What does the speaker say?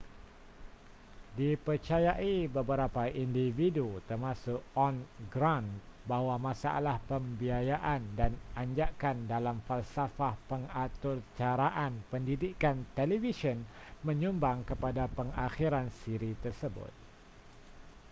dipercayai beberapa individu termasuk ohn grant bahawa masalah pembiayaan dan anjakan dalam falsafah pengaturcaraan pendidikan televisyen menyumbang kepada pengakhiran siri tersebut